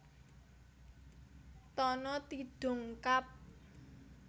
Tana Tidung Kab